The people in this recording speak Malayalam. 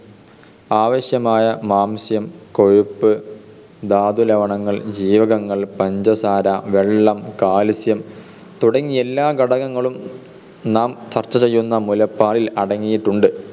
ആവശ്യമായ മാംസ്യം കൊഴുപ്പ് ധാതുലവണങ്ങൾ ജീവകങ്ങൾ പഞ്ചസാര വെള്ളം കാൽസ്യം തുടങ്ങിയെല്ലാ ഘടകങ്ങളും നാം ചർച്ച ചെയ്യുന്ന മുലപ്പാലിൽ അടങ്ങിയിട്ടുണ്ട്.